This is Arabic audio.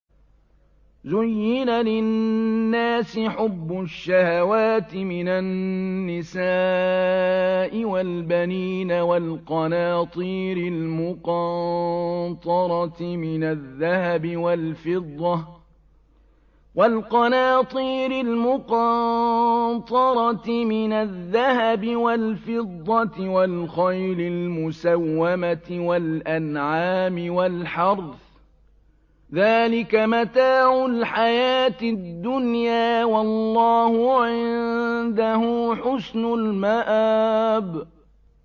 زُيِّنَ لِلنَّاسِ حُبُّ الشَّهَوَاتِ مِنَ النِّسَاءِ وَالْبَنِينَ وَالْقَنَاطِيرِ الْمُقَنطَرَةِ مِنَ الذَّهَبِ وَالْفِضَّةِ وَالْخَيْلِ الْمُسَوَّمَةِ وَالْأَنْعَامِ وَالْحَرْثِ ۗ ذَٰلِكَ مَتَاعُ الْحَيَاةِ الدُّنْيَا ۖ وَاللَّهُ عِندَهُ حُسْنُ الْمَآبِ